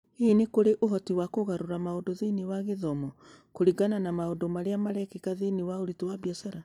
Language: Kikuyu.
Hihi nĩ kũrĩ ũhoti wa kũgarũrĩra maũndũ thĩinĩ wa gĩthomo kũringana na maũndũ marĩa marekĩka thĩinĩ wa ũritũ wa biacara?